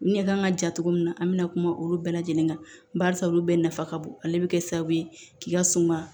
Ɲɛ kan ka ja cogo min na an mi na kuma olu bɛɛ lajɛlen kan barisa olu bɛɛ nafa ka bon ale bɛ kɛ sababu ye k'i ka suma